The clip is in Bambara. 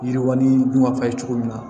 Yiriwali dun ma fɔ a ye cogo min na